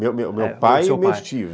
Meu pai e meus tios.